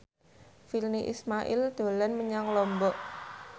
Virnie Ismail dolan menyang Lombok